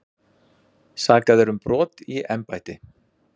Sakaðir um brot í embætti